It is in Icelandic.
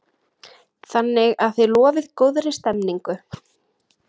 Þannig að þið lofið góðri stemningu?